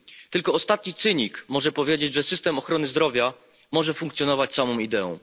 Tylko ostatni cynik może powiedzieć, że system ochrony zdrowia może funkcjonować samą ideą.